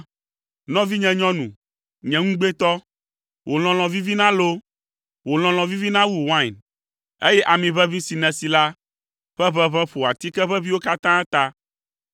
Nɔvinye nyɔnu, nye ŋugbetɔ, wò lɔlɔ̃ vivina loo! Wò lɔlɔ̃ vivina wu wain, eye ami ʋeʋĩ si nèsi la ƒe ʋeʋẽ ƒo atike ʋeʋĩwo katã ta!